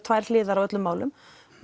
tvær hliðar á öllum málum